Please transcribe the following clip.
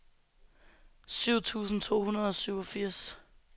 syv tusind to hundrede og syvogfirs